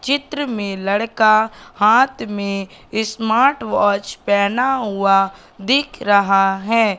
चित्र में लड़का हाथ में ये स्मार्ट वॉच पहना हुआ दिख रहा हैं।